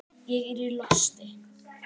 Ég er í losti.